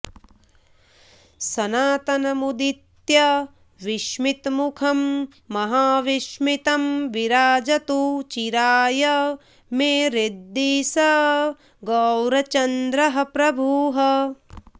सनातनमुदित्य विस्मितमुखं महाविस्मितं विराजतु चिराय मे हृदि स गौरचन्द्रः प्रभुः